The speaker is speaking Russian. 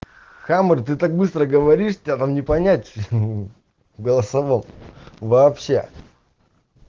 хамер ты так быстро говоришь там не понять ха в голосовом вообще